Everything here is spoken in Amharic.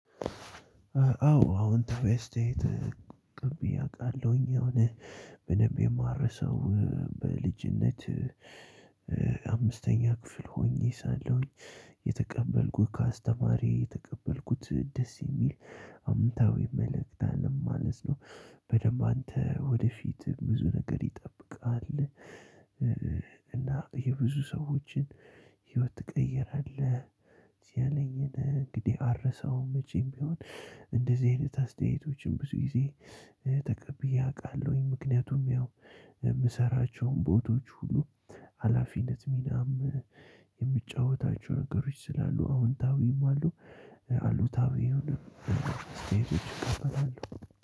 አዎ አወንታዊ አስተያየት ተቀብዬ አውቃለሁኝ የሆነ በደንብ የማልረሰው በልጅነት አምስተኛ ክፍል ሆኜ ሳለሁኝ የተቀበልኩት ከአስተማሪ የተቀበልኩት ደስ የሚል አምታዊ መልእክት አለው ማለት ነው። በደንብ አንተ ወደፊት ብዙ ነገር ይጠብቃሃል። እና የብዙ ሰዎችን ህይወት ትቀይራለህ። ያለኝን እንግዲህ አልረሳውም መቼም ቢሆን። እንደዚህ አይነት አስተያየቶችን ብዙ ጊዜ ተቀብዬ አውቃለሁኝ። ምክንያቱም የምሰራቸው ቦታዎች ሁሉ ሀላፊነት ሚናም የምጫወታቸው ነገሮች ስላሉ አዎንታዊም አሉ አሉታዊም። አስተያየቶች እቀበላለው።